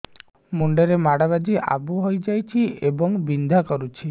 ମୁଣ୍ଡ ରେ ମାଡ ବାଜି ଆବୁ ହଇଯାଇଛି ଏବଂ ବିନ୍ଧା କରୁଛି